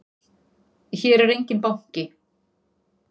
Hér er enginn banki!